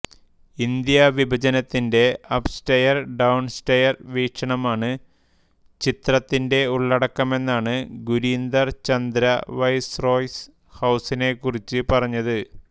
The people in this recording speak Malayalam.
ഇന്ത്യാ വിഭജനത്തിന്റെ അപ്സ്റ്റെയർ ഡൌൺസ്റ്റെയർ വീക്ഷണമാണ് ചിത്രത്തിന്റെ ഉള്ളടക്കമെന്നാണ് ഗുരീന്ദർ ചന്ദ വൈസ്രോയ്സ് ഹൌസിനെക്കുറിച്ച് പറഞ്ഞത്